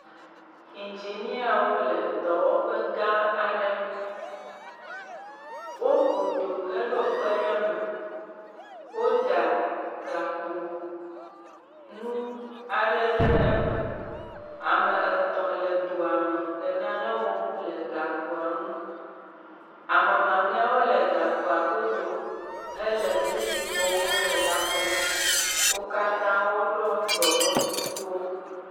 Engineawo wole dɔwɔƒe gã aɖe. Woku do he ɖo kpe ɖe me. Woɖa gakpo nu aɖe ɖe eme. Ame etɔ le doa me le nane wɔm le gakpoa nu. Ame mamlɛwo le gakpoa godo hele nu si wɔm le kpɔm. wo ha katã wo ɖo dome kukuwo.